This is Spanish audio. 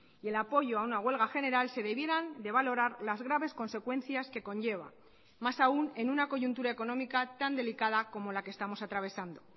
y el apoyo a una huelga general se debieran de valorar las graves consecuencias que conlleva más aún en una coyuntura económica tan delicada como la que estamos atravesando